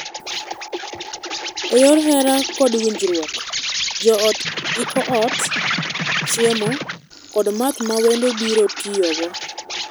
E yor hera kod winjruok, joot iko ot, chiemo, kod math ma wendo biro tiyogo.